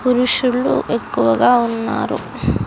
పురుషులు ఎక్కువగా ఉన్నారు.